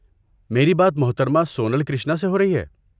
میرے بات محترمہ سونل کرشنا سے ہو رہی ہے؟